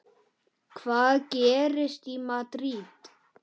Hvað gerist í Madríd?